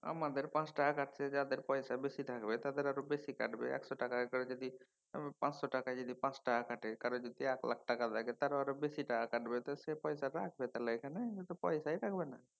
আমাদের পাঁচ টাকা কাটছে। যাদের পয়সা বেশি থাকবে তাদের আরও বেশি কাটবে। একশ টাকা করে যদি পাঁচশো টাকায় পাঁচ টাকা কাটে কারো যদি এক লাখ টাকা থাকে তাদের আরও বেশি টাকা কাটবে। তো সে পয়সা রাখবে কেন সেখানে সেটাই রাখবে না